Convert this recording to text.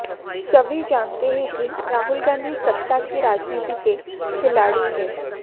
सभी जानते हैं कि राहुल गांधी सत्ता की राजनीति के खिलाड़ी हैं